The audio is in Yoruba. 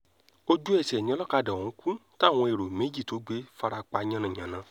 ojú-ẹsẹ̀ ni olókàdá ọ̀hún kù táwọn èrò méjì tó gbé sì fara pa yánnayànna